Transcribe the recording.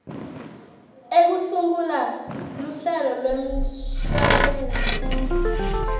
ekusungula luhlelo lwemshwalense